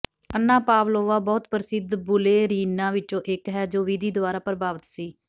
ਅੰਨਾ Pavlova ਬਹੁਤ ਪ੍ਰਸਿੱਧ ਬੁਲੇਰੀਨਾਂ ਵਿੱਚੋਂ ਇੱਕ ਹੈ ਜੋ ਵਿਧੀ ਦੁਆਰਾ ਪ੍ਰਭਾਵਿਤ ਸੀ